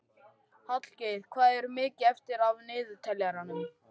Hallgeir, hvað er mikið eftir af niðurteljaranum?